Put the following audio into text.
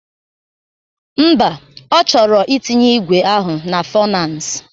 Mba, ọ chọrọ itinye igwe ahụ na fọnans